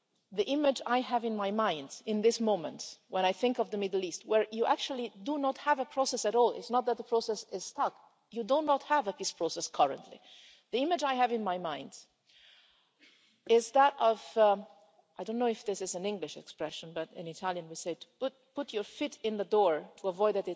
The image I have in my mind at this moment when I think of the Middle East, where you actually do not have a process at all it's not that the process is stuck, you do not have a peace process currently the image I have in my mind is that of I don't know if this is an English expression, but in Italian we say put your foot in the door to avoid